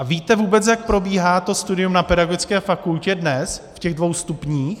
A víte vůbec, jak probíhá to studium na pedagogické fakultě dnes v těch dvou stupních?